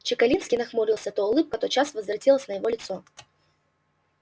чекалинский нахмурился то улыбка тотчас возвратилась на его лицо